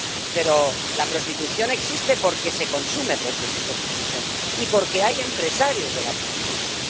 Pero la prostitución existe porque se consume prostitución y porque hay empresarios de la prostitución.